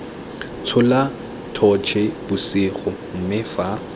tshola totšhe bosigo mme fa